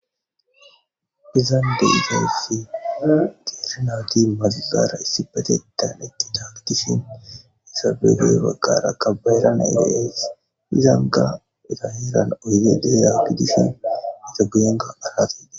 Izan dizayssi diirinati mazigara issi batettan etti taakitishin isabegey baggara kabayeranaeteees izanga eta yeeran oyde deeya gidishin ita guyenga aratee